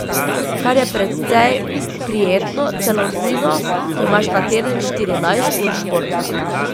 Kar je precej prijetno, celo nujno, ko imaš na teden štirinajst ur športa.